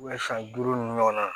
san duuru ninnu ɲɔgɔnna